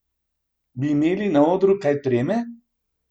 Bi imeli na odru kaj treme?